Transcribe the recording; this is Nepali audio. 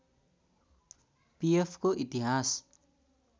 पिएफको इतिहास